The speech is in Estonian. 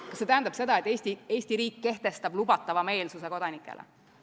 Kas see tähendab, et Eesti riik kehtestab kodanikele lubatava meelsuse?